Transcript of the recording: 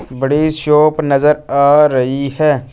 बड़ी शॉप नज़र आ रही है।